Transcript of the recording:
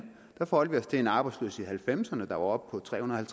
der forholdt vi os til en arbejdsløshed halvfemserne der var oppe på trehundrede